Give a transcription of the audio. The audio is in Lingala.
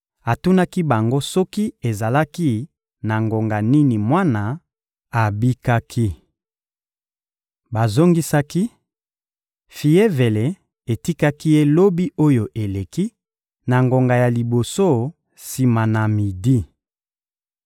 Atunaki bango soki ezalaki na ngonga nini mwana abikaki. Bazongisaki: — Fievele etikaki ye lobi oyo eleki, na ngonga ya liboso sima na midi.